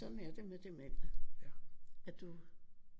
Sådan er det med demente at du